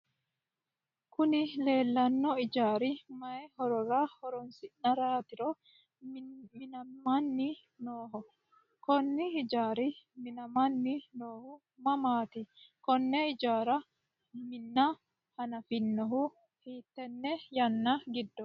Kuni lelano ijari mayyi horora horronisirate minamanni noho? Kuni ijarino minamanni nohu mamatti? Kone ijara mina hanafonihu hittene yana gidoti.